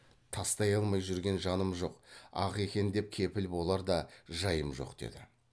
тастай алмай жүрген жаным жоқ ақ екен деп кепіл болар да жайым жоқ деді